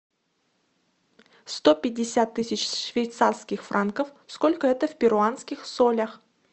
сто пятьдесят тысяч швейцарских франков сколько это в перуанских солях